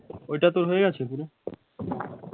ওইটা তোর হয়ে গেছে পুরো?